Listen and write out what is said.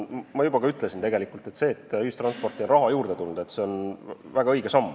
Ma juba ütlesin, et see, et ühistransporti on raha juurde tulnud, on väga õige samm.